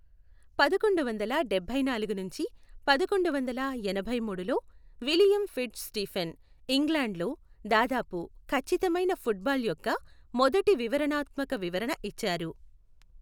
పదకొండువందల డబ్భైనాలుగు నుంచి పదకొండువందల ఎనభైమూడు లో విలియం ఫిట్జ్ స్టీఫెన్ ఇంగ్లాండ్లో దాదాపు ఖచ్చితమైన ఫుట్బాల్ యొక్క మొదటి వివరణాత్మక వివరణ ఇచ్చారు.